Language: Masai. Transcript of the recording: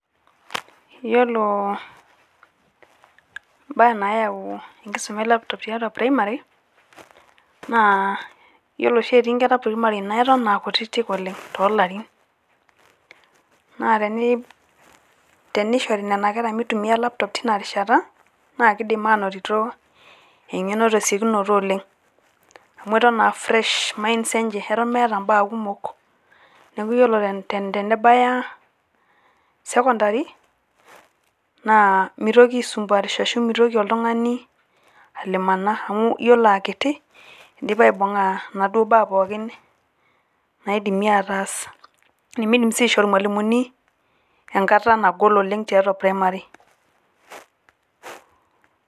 Iyiolo mbaa nayau enkisuma e laptop tiatua primari naa iyiolo oshi etii nkera primari naa eton a kutitik oleng' to larin naa tenishori nena kera mitumia laptop tina rishata naa kidim anotito eng'eno tesiokinoto oleng' amu eton a fresh minds enje, eton meeta mbaa kumok . Neeku iyiolo tenebaya secondary naa mitoki aisumbuarisho ashu mitoki oltung'ani alimana amu iyiolo a kiti idipa aibung'a naduo baa pookin naidimi ataas, nemidim sii aishoo irmalimuni enkata nagol oleng' tiatua primari.